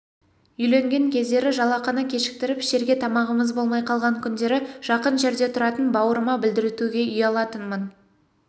үйленген кездері жалақыны кешіктіріп ішерге тамағымыз болмай қалған күндері жақын жерде тұратын бауырыма білдіртуге ұялатынмын